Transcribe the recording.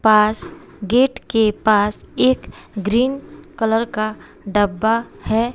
पास gate के पास एक ग्रीन कलर का डब्बा है।